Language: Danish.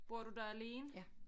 Bor du der alene ja